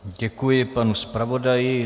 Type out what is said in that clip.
Děkuji panu zpravodaji.